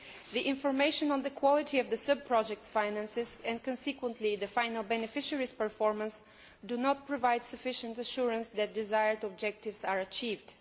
The information on the quality of the sub project's finances, and consequently the final beneficiaries' performance, does not provide sufficient assurance that the desired objectives are being achieved.